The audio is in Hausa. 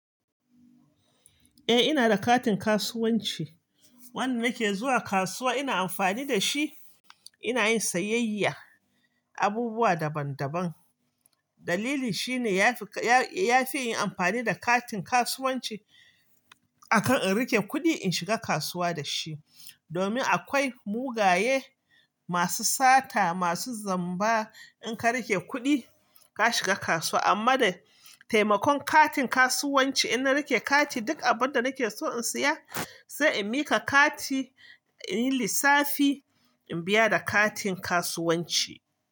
Eh ina da katin kasuwanci. Wanda nake zuwa kasuwa ina amfani da shi, ina yin sayayyan abubuwa daban daban. Dalili shine yafi, yafi in yi amfani da katin kasuwanci akan in rike kuɗi in shiga kasuwa da shi. Domin akwai mugaye masu sata masu zamba. In ka rike kuɗi ka shiga kasuwa, amma da taimakon katin kasuwanci in na rike kati duk abin da nake so in saya sai in miƙa kati in yi lissafi in biya da katin kasuwanci.